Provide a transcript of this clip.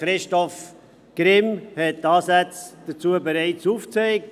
Christoph Grimm hat bereits Ansätze dazu aufgezeigt.